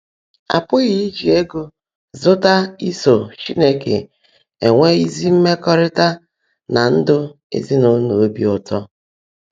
À pụghị íjí égó zụ́tá ísó Chínekè énwe ézí mmẹkọrịta nà ndụ ézinụlọ óbí ụ́tọ́